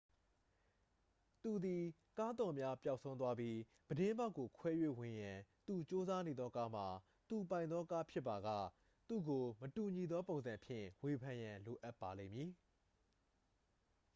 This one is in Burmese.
သူသည် ကားသော့များ ပျောက်ဆုံးသွားပြီး ပြတင်းပေါက်ကို ခွဲ၍ဝင်ရန် သူကြိုးစားနေသောကားမှာ သူပိုင်သောကားဖြစ်ပါက သူ့ကို မတူညီသောပုံစံဖြင့် ဝေဖန်ရန် လိုအပ်ပါလိမ့်မည်